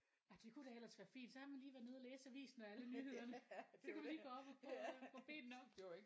Nej det kunne da ellers være fint så har man lige været nede og læse avisen og alle nyhederne så kan man lige gå op og få få benene op